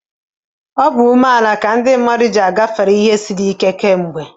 Ịdị umeala n'obi duziri ndị mmadụ ị gafe ọnọdụ ndị siri ike tupu ugbu a.